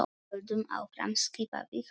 Höldum áfram skipaði hann.